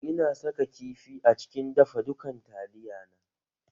Ina saka kifi a cikin dafa dukan taliya na